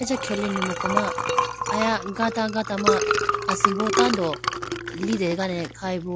Acha khelene muku ma aya gata gata ma asimbo tando litegane khayibo.